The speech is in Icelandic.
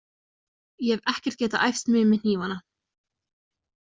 Ég hef ekkert getað æft mig með hnífana.